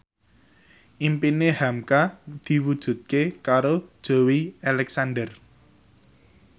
impine hamka diwujudke karo Joey Alexander